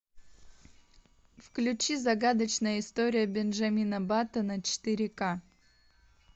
включи загадочная история бенджамина баттона четыре к